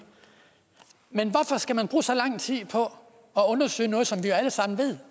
men hvorfor skal man bruge så lang tid på at undersøge noget som vi alle sammen ved